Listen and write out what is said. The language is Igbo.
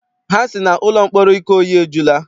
Ha sị na ụlọ mkpọrọ Ikoyi ejula.